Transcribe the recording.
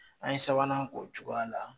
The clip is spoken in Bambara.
An ye sabanan k'o cogoya la